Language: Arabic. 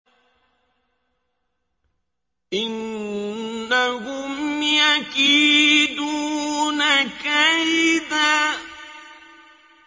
إِنَّهُمْ يَكِيدُونَ كَيْدًا